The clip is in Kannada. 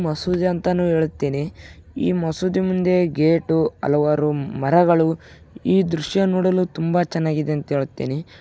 ಮಸೂದಿ ಅಂತನೂ ಹೆಳ್ತೀನಿ ಈ ಮಸೂದಿ ಮುಂದೆ ಗೇಟು ಹಲವಾರು ಮರಗಳು ಈ ದೃಶ್ಯ ನೋಡಲು ತುಂಬಾ ಚೆನ್ನಾಗಿದೆ ಅಂತಾ ಹೇಳ್ತಿನಿ.